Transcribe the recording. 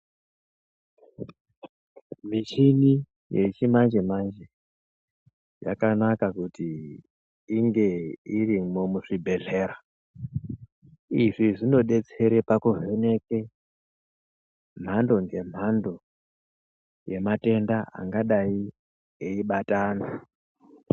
Michini yechimanje manje yakanaka kuti inge irimwo muzvibhehlera. Izvi zvinodetsere pakuvheneke mhando nemhando yematenda angadai eyibata antu.